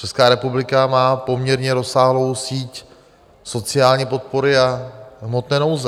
Česká republika má poměrně rozsáhlou síť sociální podpory a hmotné nouze.